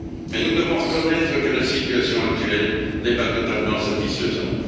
Nous devons cependant reconnaître que la situation actuelle n'est pas totalement satisfaisante.